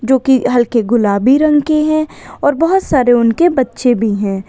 जो कि हल्के गुलाबी रंग के हैं और बहुत सारे उनके बच्चे भी हैं।